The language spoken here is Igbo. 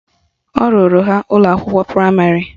Ọ rụrụ ha ụlọakwụkwọ praịmarị?